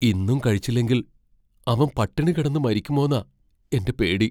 ഇന്നും കഴിച്ചില്ലെങ്കിൽ അവൻ പട്ടിണി കിടന്ന് മരിക്കുമോന്നാ എന്റെ പേടി.